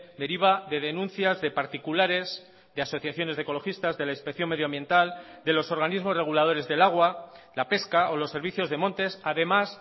deriva de denuncias de particulares de asociaciones de ecologistas de la inspección medioambiental de los organismos reguladores del agua la pesca o los servicios de montes además